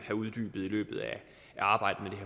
uddybet i løbet af arbejdet